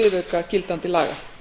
viðauka gildandi laga